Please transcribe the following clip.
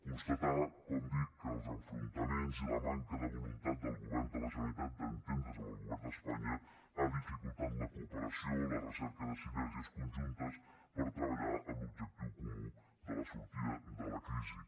constatar com dic que els enfrontaments i la manca de voluntat del govern de la generalitat d’entendre’s amb el govern d’espanya ha dificultat la cooperació la recerca de sinergies conjuntes per treballar en l’objectiu comú de la sortida de la crisi